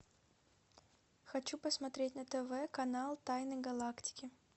хочу посмотреть на тв канал тайны галактики